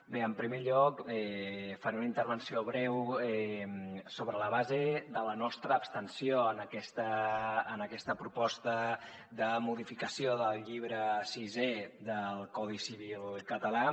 bé en primer lloc faré una intervenció breu sobre la base de la nostra abstenció en aquesta proposta de modificació del llibre sisè del codi civil català